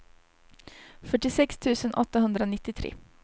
fyrtiosex tusen åttahundranittiotre